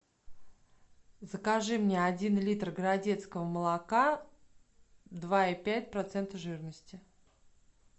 закажи мне один литр городецкого молока два и пять процента жирности